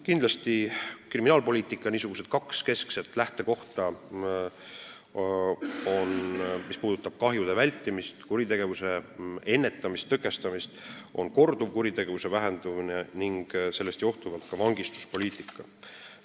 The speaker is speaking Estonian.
Kindlasti on kriminaalpoliitika kaks keskset lähtekohta, mis puudutavad kahjude vältimist ning kuritegevuse tõkestamist, korduvkuritegevuse vähenemine ning sellest johtuvalt vangistuspoliitika.